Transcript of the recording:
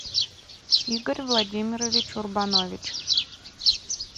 игорь владимирович урбанович